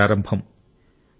మంచి ప్రారంభం